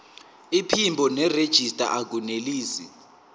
iphimbo nerejista akunelisi